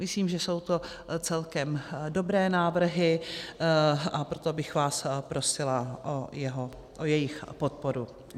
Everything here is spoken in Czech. Myslím, že jsou to celkem dobré návrhy, a proto bych vás prosila o jejich podporu.